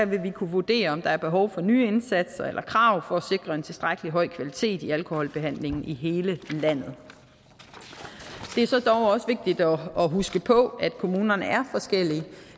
vil vi kunne vurdere om der er behov for nye indsatser eller krav for at sikre en tilstrækkelig høj kvalitet i alkoholbehandlingen i hele landet det er så dog også vigtigt at huske på at kommunerne er forskellige